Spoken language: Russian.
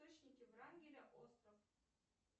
врангеля остров